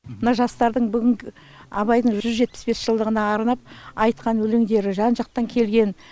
мына жастардың бүгінгі абайдың жүз жетпіс бес жылдығына арнап айтқан өлеңдері жан жақтан келген